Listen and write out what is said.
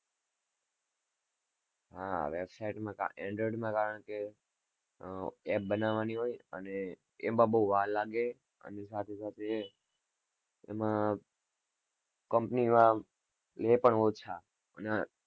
હા, website માં android માં કારણ કે app બનાવવાની હોય અને એમાં બોવ વાર લાગે અને સાથે-સાથે એમાં company વાળા લે પણ ઓછા અને